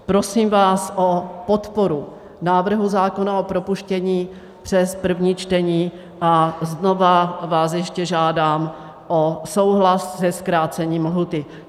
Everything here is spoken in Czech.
Prosím vás o podporu návrhu zákona, o propuštění přes první čtení, a znovu vás ještě žádám o souhlas se zkrácením lhůty.